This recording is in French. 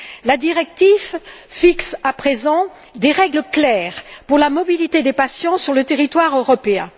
La directive fixe, à présent, des règles claires pour la mobilité des patients sur le territoire européen.